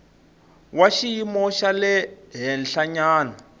wa xiyimo xa le henhlanyana